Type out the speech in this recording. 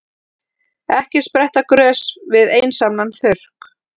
Ekki spretta grös við einsamlan þurrk.